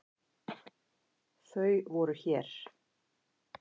Þau voru hér.